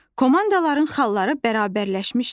Komandaların xalları bərabərləşmişdi.